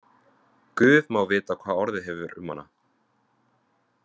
Guð má vita hvað orðið hefur um hana.